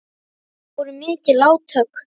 Það voru mikil átök.